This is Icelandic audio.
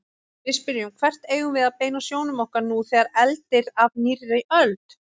Við spyrjum: Hvert eigum við að beina sjónum okkar nú þegar eldir af nýrri öld?